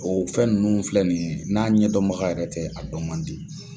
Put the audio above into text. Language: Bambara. O fɛn nunnu filɛ ni ye, n'a ɲɛdɔnbaga yɛrɛ tɛ a dɔn man di.